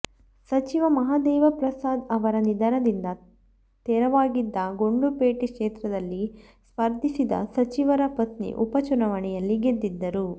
ಸಚಿವ ಮಹಾದೇವಪ್ರಸಾದ್ ಅವರ ನಿಧನದಿಂದ ತೆರವಾಗಿದ್ದ ಗುಂಡ್ಲುಪೇಟೆ ಕ್ಷೇತ್ರದಲ್ಲಿ ಸ್ಪರ್ಧಿಸಿದ ಸಚಿವರ ಪತ್ನಿ ಉಪ ಚುನಾವಣೆಯಲ್ಲಿ ಗೆದ್ದಿದ್ದರು